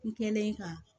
N kɛlen ka